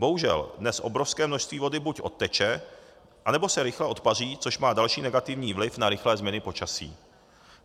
Bohužel dnes obrovské množství vody buď odteče, nebo se rychle odpaří, což má další negativní vliv na rychlé změny počasí.